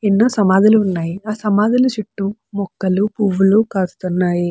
ఎన్నో సమాధులు ఉన్నాయి. ఆ సమాధుల చెట్టు మొక్కలు పువ్వులు కాస్తున్నాయి.